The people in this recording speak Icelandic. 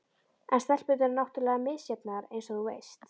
En stelpurnar eru náttúrlega misjafnar eins og þú veist.